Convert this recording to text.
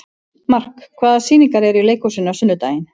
Mark, hvaða sýningar eru í leikhúsinu á sunnudaginn?